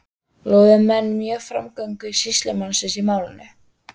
Lofuðu menn mjög framgöngu sýslumanns í málinu.